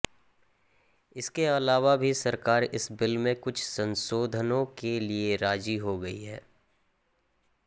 इसके अलावा भी सरकार इस बिल में कुछ संशोधनों के लिए राजी हो गई है